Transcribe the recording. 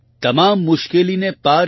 તમામ મુશ્કેલીને પાર કરી